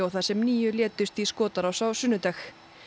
þar sem níu létust í skotárás á sunnudag